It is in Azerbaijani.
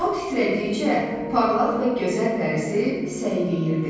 O titrədikcə, parlaq və gözəl dərisi səyriyirdi.